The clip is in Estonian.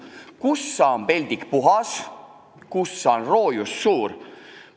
Kussa on peldik puhas, kussa on roojus suur.